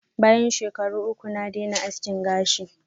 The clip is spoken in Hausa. Bayan shekaru uku, naje ma aski gashin.